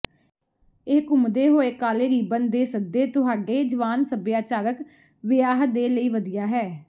ਇਹ ਘੁੰਮਦੇ ਹੋਏ ਕਾਲੇ ਰਿਬਨ ਦੇ ਸੱਦੇ ਤੁਹਾਡੇ ਜਵਾਨ ਸੱਭਿਆਚਾਰਕ ਵਿਆਹ ਦੇ ਲਈ ਵਧੀਆ ਹੈ